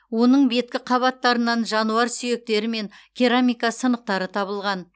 оның беткі қабаттарынан жануар сүйектері мен керамика сынықтары табылған